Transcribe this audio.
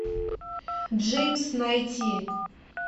джеймс найти